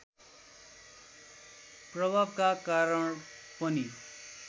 प्रभावका कारण पनि